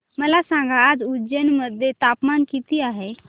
मला सांगा आज उज्जैन मध्ये तापमान किती आहे